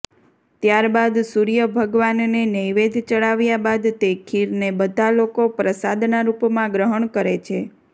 ત્યારબાદ સૂર્ય ભગવાનને નૈવેધ ચડાવ્યા બાદ તે ખીરને બધા લોકો પ્રસાદનાં રૂપમાં ગ્રહણ કરે છે